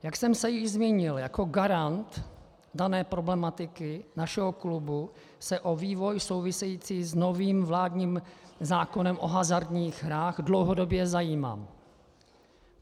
Jak jsem se již zmínil, jako garant dané problematiky našeho klubu se o vývoj související s novým vládním zákonem o hazardních hrách dlouhodobě zajímám.